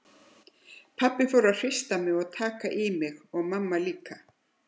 Pabbi fór að hrista mig til og taka í mig og mamma líka.